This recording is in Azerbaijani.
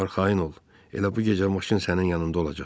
Arxayın ol, elə bu gecə maşın sənin yanında olacaq.